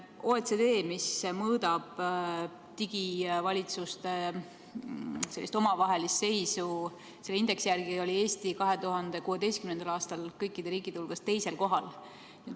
OECD indeksi järgi, mis mõõdab digivalitsuste omavahelist seisu, oli Eesti 2016. aastal kõikide riikide hulgas 2. kohal.